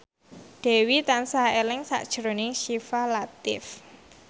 Dewi tansah eling sakjroning Syifa Latief